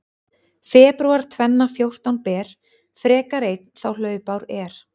Febrúar tvenna fjórtán ber frekar einn þá hlaupár er.